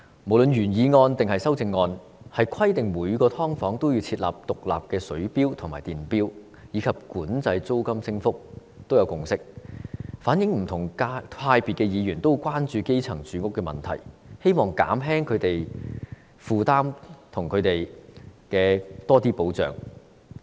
無論是原議案或修正案，對於規定每間"劏房"要設置獨立水錶和電錶，以及管制租金升幅，均有共識，反映不同派別的議員均十分關注基層的住屋問題，希望減輕他們的負擔，並為他們提供更多保障。